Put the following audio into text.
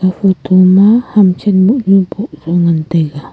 photo ma ham chan mohnu boh zau ngantaiga.